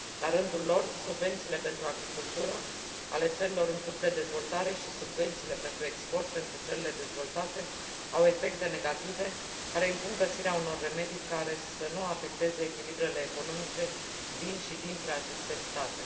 La rândul lor, subvențiile pentru agricultură ale țărilor în curs de dezvoltare și subvențiile pentru export pentru țările dezvoltate au efecte negative, care impun găsirea unor remedii care să nu afecteze echilibrele economice din aceste state